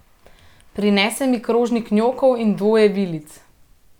Prinese mi krožnik njokov in dvoje vilic.